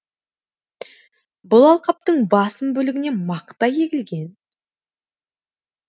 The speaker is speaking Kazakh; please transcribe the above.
бұл алқаптың басым бөлігіне мақта егілген